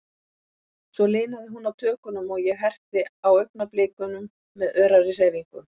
Svo linaði hún á tökunum, og ég herti á augnablikunum með örari hreyfingum.